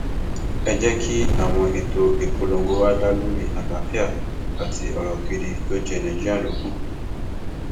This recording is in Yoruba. ẹ jẹ kí àwọn ètò ìpolongo wa dá lórí àlàáfíà àti ọrọ gidi tó jẹ nàìjíríà lógún